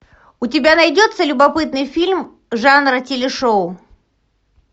у тебя найдется любопытный фильм жанра телешоу